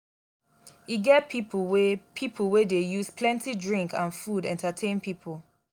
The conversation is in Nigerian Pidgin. e get pipo wey pipo wey dey use plenty drink and food entertain pipo.